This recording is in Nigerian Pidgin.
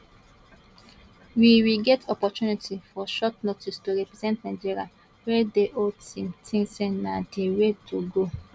we we get opportunity for short notice to represent nigeria wey di whole team tink say na di way to go